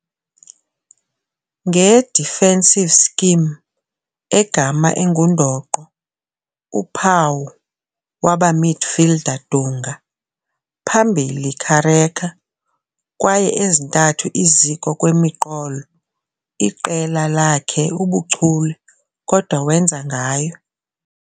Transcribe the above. Nge defensive scheme, egama engundoqo uphawu waba midfielder Dunga, phambili Careca kwaye ezintathu iziko-kwemiqolo, iqela lacked ubuchule kodwa wenza ngayo.